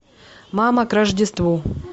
мама к рождеству